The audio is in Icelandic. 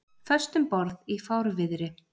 Föst um borð í fárviðri